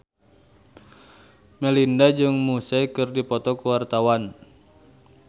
Melinda jeung Muse keur dipoto ku wartawan